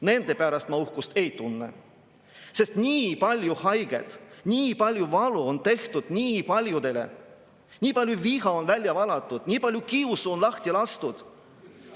Nende pärast ma uhkust ei tunne, sest nii palju valu on tehtud nii paljudele, nii palju viha on välja valatud, nii palju kiusu on lahti lastud.